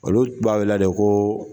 Olu tun b'a wele la de kooo.